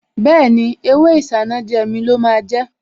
Bẹ́ẹ̀ni, ewé Isanaje mi lọ máa jẹ́